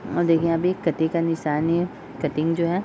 और देखिये यहाँ पे एक कटे का निशान है कटिंग जो है ।